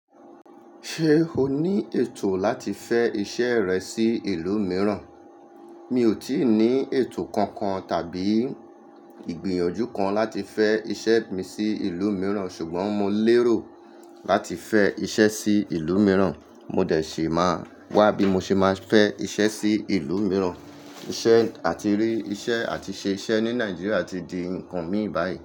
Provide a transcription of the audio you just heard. Ṣé o ní ètò láti fẹ́ iṣẹ́ rẹ sí ìlú mìíràn? Mi ò tí ì ní ètò kankan tàbí ìgbìyànjú kan láti fẹ́ iṣẹ́ mi sí ìlú mìíràn, ṣùgbọ́n mo lérò láti fẹ́ iṣẹ́ sí ìlú mìíràn. Mo dẹ̀ sí máa wá bí mo ṣe máa fẹ́ iṣẹ́ sí ìlú mìíràn. Iṣẹ́ àti rí iṣẹ́ àti ṣé iṣẹ́ ní Nàìjíríà ti di nǹkan mi báyìí.